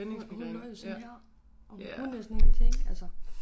Hun hun lå jo sådan her og hun kunne næsten ingenting altså